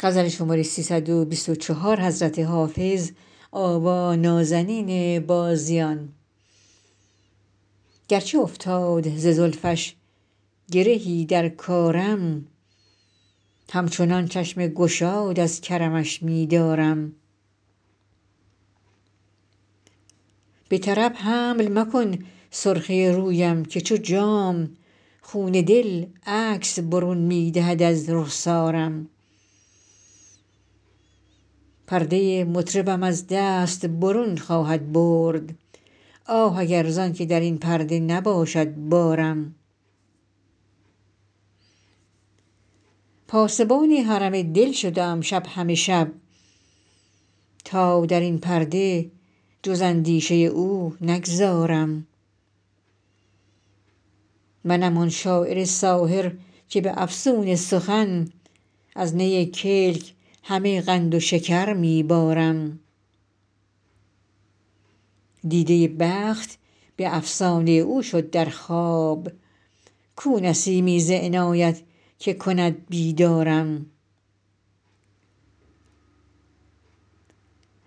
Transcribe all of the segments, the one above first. گرچه افتاد ز زلفش گرهی در کارم همچنان چشم گشاد از کرمش می دارم به طرب حمل مکن سرخی رویم که چو جام خون دل عکس برون می دهد از رخسارم پرده مطربم از دست برون خواهد برد آه اگر زان که در این پرده نباشد بارم پاسبان حرم دل شده ام شب همه شب تا در این پرده جز اندیشه او نگذارم منم آن شاعر ساحر که به افسون سخن از نی کلک همه قند و شکر می بارم دیده بخت به افسانه او شد در خواب کو نسیمی ز عنایت که کند بیدارم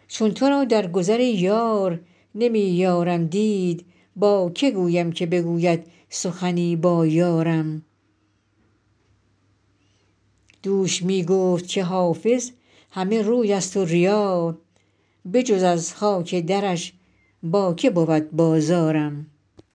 چون تو را در گذر ای یار نمی یارم دید با که گویم که بگوید سخنی با یارم دوش می گفت که حافظ همه روی است و ریا بجز از خاک درش با که بود بازارم